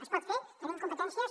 es pot fer tenim competències